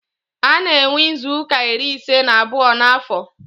A na-enwe izuuka iri ise na abụọ n'afọ.